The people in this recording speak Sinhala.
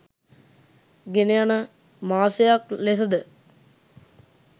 ගෙනයන මාසයක් ලෙසද